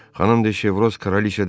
Xanım de Şevroz kraliça deyildi.